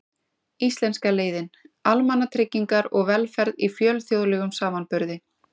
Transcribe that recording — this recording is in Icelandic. Íslenska leiðin: Almannatryggingar og velferð í fjölþjóðlegum samanburði.